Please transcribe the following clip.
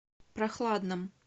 прохладном